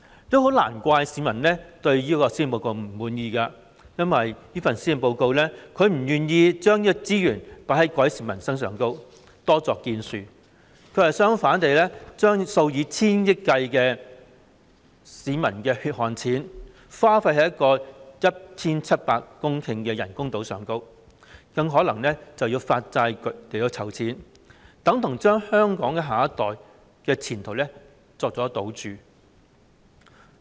這也很難怪市民會不滿這份施政報告，因為這份施政報告不願將資源放在改善民生方面，多作建樹，反之，卻將數以千億元計的市民血汗錢花費在興建 1,700 公頃的人工島，更可能要為此發債集資，這就等同將香港下一代的前途作為賭注。